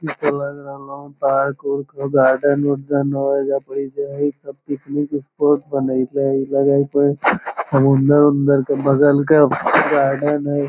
इ तो लग रहलो पार्क उर्क होअ गार्डेन उर्डन होअ एजा पर इ जे हेय सब पिकनिक स्पॉट बनेएले हेय लगे हेय इ समुद्र उमद्रर के बगल के गार्डेन हेय।